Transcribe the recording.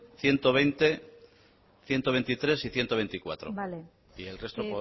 ciento veinte ciento veintitrés y ciento veinticuatro y el resto